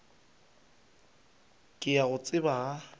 ke a go tseba ga